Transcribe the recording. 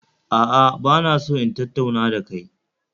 A'a, ba na so in tattauna da kai